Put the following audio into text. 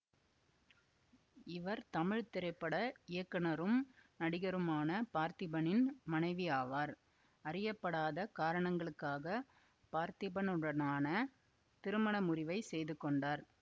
இவர் தமிழ் திரைப்பட இயக்குனரும் நடிகருமான பார்த்திபனின் மனைவியாவார் அறியப்படாத காரணங்களுக்காக பார்த்திபனுடனான திருமண முறிவை செய்து கொண்டார்